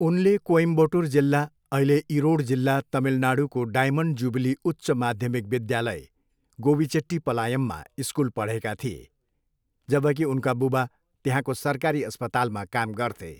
उनले कोइम्बटोर जिल्ला, अहिले इरोड जिल्ला, तमिलनाडुको डायमन्ड जुबिली उच्च माध्यमिक विद्यालय, गोबिचेट्टीपलायममा स्कुल पढेका थिए, जबकि उनका बुबा त्यहाँको सरकारी अस्पतालमा काम गर्थे।